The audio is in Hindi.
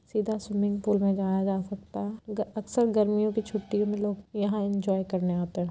सीधा स्विमिंग पूल में जाया जा सकता ग अक्सर गर्मियों के छुट्टियों मे लोग यहाँ इंजॉय करने आते हैं।